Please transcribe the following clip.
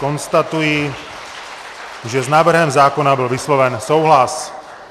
Konstatuji, že s návrhem zákona byl vysloven souhlas.